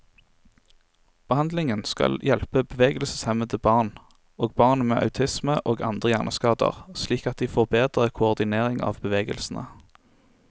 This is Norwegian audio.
Behandlingen skal hjelpe bevegelseshemmede barn, og barn med autisme og andre hjerneskader slik at de får bedre koordinering av bevegelsene.